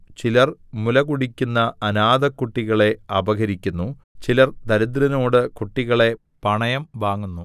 ചിലർ മുലകുടിക്കുന്ന അനാഥക്കുട്ടികളെ അപഹരിക്കുന്നു ചിലർ ദരിദ്രനോട് കുട്ടികളെ പണയം വാങ്ങുന്നു